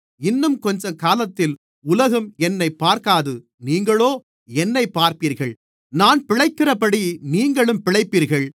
இன்னும் கொஞ்சக்காலத்தில் உலகம் என்னைப் பார்க்காது நீங்களோ என்னைப் பார்ப்பீர்கள் நான் பிழைக்கிறபடி நீங்களும் பிழைப்பீர்கள்